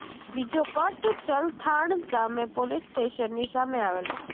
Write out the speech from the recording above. બીજો કટ ચલથાણ ગામે પોલીસ સ્ટેશનની સામે આવેલો છે